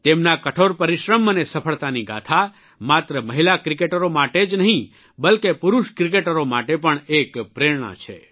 તેમના કઠોર પરિશ્રમ અને સફળતાની ગાથા માત્ર મહિલા ક્રિકેટરો માટે જ નહિં બલ્કે પુરૂષ ક્રિકેટરો માટે પણ એક પ્રેરણા છે